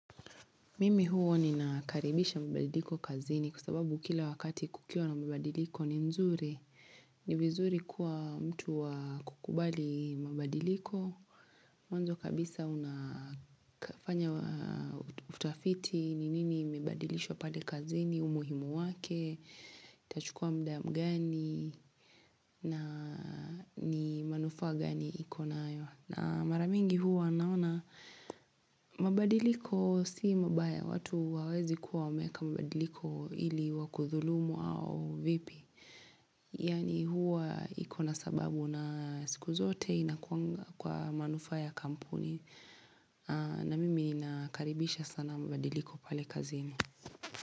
Mimi huwa nina karibisha mabadiliko kazini kwa sababu kila wakati kukiwa na mabadiliko ni mzuri. Ni vizuri kuwa mtu wa kukubali mabadiliko. Mwanzo kabisa unafanya utafiti ni nini imebadilishwa pale kazini, umuhimu wake, itachukua mda mgani na ni manufaa gani iko nayo. Na mara mingi huwa naona mabadiliko si mabaya watu hawawezi kuwa wameeka mabadiliko ili wakudhulumu au vipi. Yani huwa ikona sababu na siku zote inakuanga kwa manufaa ya kampuni na mimi nakaribisha sana mabadiliko pale kazini.